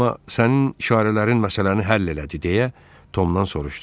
Amma sənin işarələrin məsələni həll elədi, deyə Tomdan soruşdu.